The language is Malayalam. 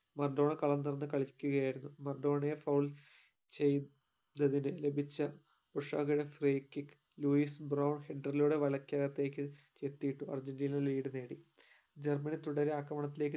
മറഡോണ കളം തൊറന്നു കളിക്കുകയായിരുന്നു മറഡോണയെ foul ചെയ് ത ചെയ്തതിന് ലഭിച്ച ഉഷത free kick ലൂയിസ് header ലൂടെ വലക്കകതേക് അർജന്റീന lead നേടി ജർമ്മനി തുടരെ ആക്രമ